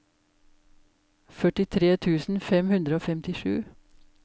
førtitre tusen fem hundre og femtisju